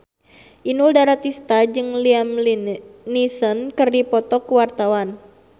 Inul Daratista jeung Liam Neeson keur dipoto ku wartawan